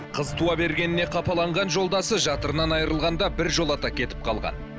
қыз туа бергеннен қапаланған жолдасы жатырынан айырылғанда біржолата кетіп қалған